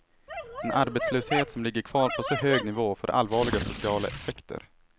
En arbetslöshet som ligger kvar på så hög nivå får allvarliga sociala effekter.